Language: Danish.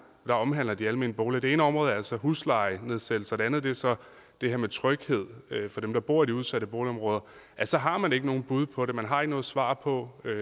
der omhandler de almene boliger det ene område er altså huslejenedsættelser og det andet er så det her med tryghed for dem der bor i de udsatte boligområder så har man ikke nogen bud på det man har ikke noget svar på hvad